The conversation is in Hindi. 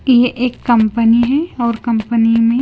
ये एक कंपनी है और कंपनी में--